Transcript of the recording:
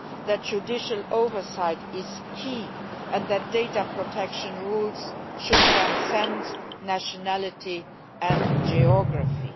that judicial oversight is key and that data protection rules should transcend nationality and geography.